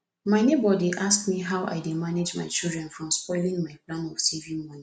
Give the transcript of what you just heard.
my neighbour dey ask me how i dey manage my children from spoiling my plan of saving money